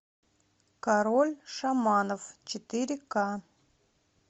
король шаманов четыре ка